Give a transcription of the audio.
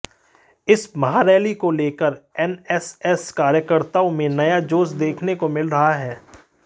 इस महारैली को लेकर एमएनएस कार्यकर्ताओं में नया जोश देखने को मिल रहा है